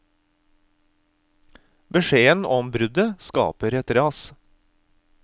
Beskjeden om bruddet skaper et ras.